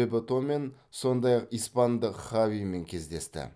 бебетомен сондай ақ испандық хавимен кездесті